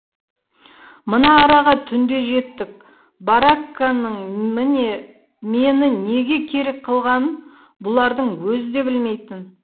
мына араға түнде жеттік баракканың міне мені неге керек қылғанын бұлардың өзі де білмейтін